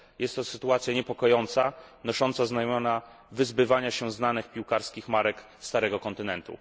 Jest to sytuacja niepokojąca, nosząca znamiona wyzbywania się starych piłkarskich marek starego kontynentu.